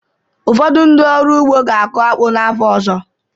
Ụfọdụ ndị ọrụ ugbo ga-akụ akpu n'afọ ọzọ